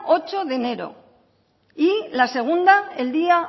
ocho de enero y la segunda el día